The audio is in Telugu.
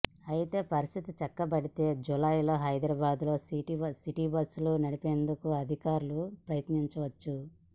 అయితే పరిస్థితి చక్కబడితే జూలైలో హైదరాబాద్లో సిటిబస్సులు నడిపేందుకు అధికారులు యత్నించవచ్చు